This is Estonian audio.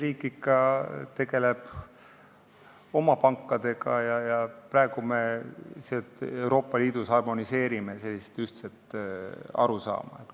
Eesti riik tegeleb ikka oma pankadega ja me praegu Euroopa Liidus harmoneerime sellist ühtset arusaama.